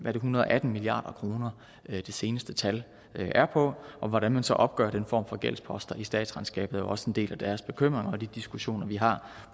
hundrede og atten milliard kr det seneste tal er på og hvordan man så opgør den form for gældsposter i statsregnskabet er også en del af deres bekymringer og de diskussioner vi har